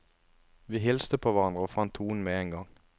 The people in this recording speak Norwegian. Vi hilste på hverandre og fant tonen med en gang.